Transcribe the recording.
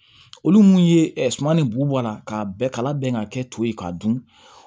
Olu mun ye suman ni bubala k'a bɛɛ kala bɛn ka kɛ to ye k'a dun